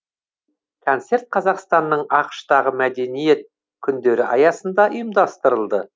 концерт қазақстанның ақш тағы мәдениет күндері аясында ұйымдастырылды